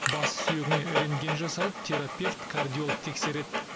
бас сүйегіне рентген жасалып терапевт кардиолог тексереді